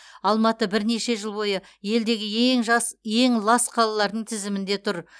алматы бірнеше жыл бойы елдегі ең лас қалалардың тізімінде тұр